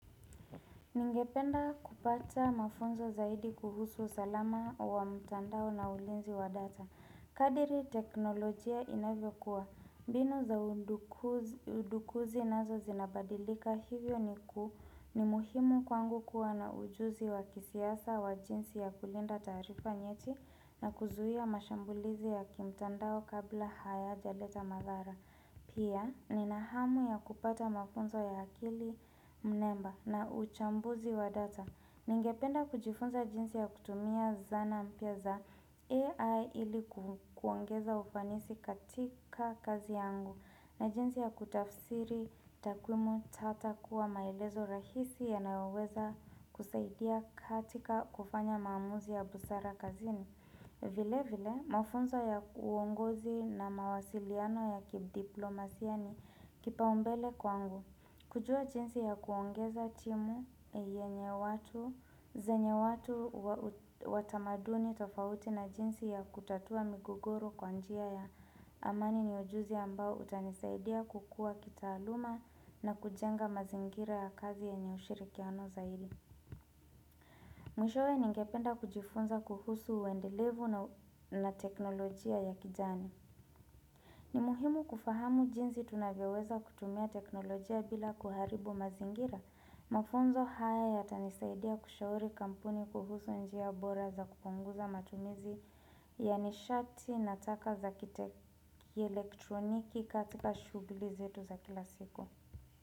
Ningependa kupata mafunzo zaidi kuhusu salama wa mtandao na ulinzi wa data. Kadiri teknolojia inavyo kuwa. Binu za udukuzi nazo zinabadilika hivyo ni kuu ni muhimu kwangu kuwa na ujuzi wa kisiasa wa jinsi ya kulinda taarifa nyeti na kuzuhia mashambulizi ya kimtandao kabla haya jaleta madhara. Pia, ni nahamu ya kupata mafunzo ya akili mnemba na uchambuzi wa data. Ningependa kujifunza jinsi ya kutumia zana mpya za AI ili kuongeza ufanisi katika kazi yangu na jinsi ya kutafsiri takumu tata kuwa maelezo rahisi ya naoweza kusaidia katika kufanya maamuzi ya busara kazini. Vile vile, mafunzo ya uongozi na mawasiliano ya kidiplomasia ni kipaumbele kwangu. Kujua jinsi ya kuongeza timu yenye watu, zenye watu watamaduni tofauti na jinsi ya kutatua migogoro kwanjia ya amani ni ujuzi ambao utanisaidia kukua kitaaluma na kujenga mazingira ya kazi yenye ushirikiano zaidi. Mwishowe ningependa kujifunza kuhusu uendelevu na teknolojia ya kijani. Ni muhimu kufahamu jinzi tunavyoweza kutumia teknolojia bila kuharibu mazingira. Mafunzo haya yata nisaidia kushauri kampuni kuhusu njia bora za kuponguza matumizi ya nishati na taka za kiteki elektroniki katika shughuli zetu za kila siku.